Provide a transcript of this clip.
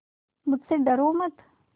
मुझसे डरो मत